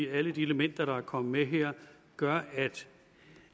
alle de elementer der er kommet med her gør at